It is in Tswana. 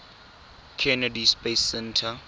kennedy space center